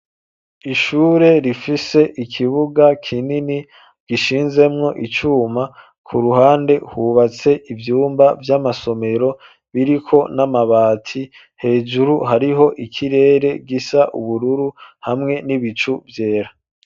Ishure rifise ikibuga kinini gishinzemwo icuma kuruhande hubatse ivyumba vy'amasomero biriko n'amabati hejuru hariho ikirere gisa ubururu hamwe n'ibicu vyera.